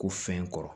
Ko fɛn kɔrɔ